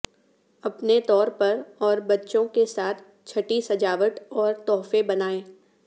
اپنے طور پر اور بچوں کے ساتھ چھٹی سجاوٹ اور تحفے بنائیں